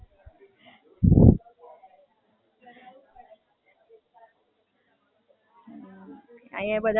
અહિયાં બધાને ઓડખતો થય ગયો કે હજુ બઉ નહીં ઓડખતો હોય હે ને?